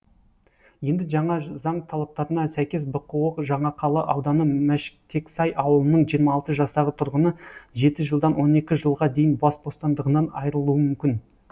енді жаңа заң талаптарына сәйкес бқо жаңақала ауданы мәштексай ауылының жиырма алты жастағы тұрғыны жеті жылдан он екі жылға дейін бас бостандығынан айырылуы мүмкін